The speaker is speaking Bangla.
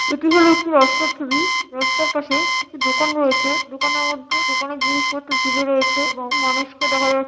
এটি হল একটি রাস্তার ছবি | রাস্তার পাশে কিছু দোকান রয়েছে | দোকানের মধ্যে দোকানে জিনিসপত্র ঝুলে রয়েছে | এবং মানুষকে দেখা যা --